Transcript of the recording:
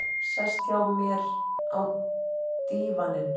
Sest hjá mér á dívaninn.